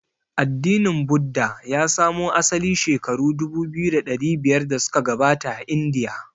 Addinin Buddha ya samo asali shekaru dubu biyu da dari biyar da suka gabata a Indiya.